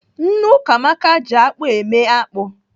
Nne Ukamaka ji akpụ eme akpụ.